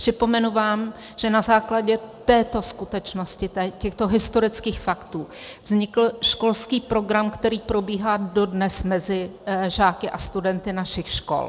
Připomenu vám, že na základě této skutečnosti, těchto historických faktů, vznikl školský program, který probíhá dodnes mezi žáky a studenty našich škol.